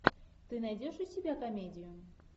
ты найдешь у себя комедию